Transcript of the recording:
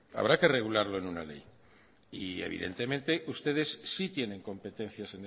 habrá que regularlo en una ley y evidentemente ustedes sí tienen competencias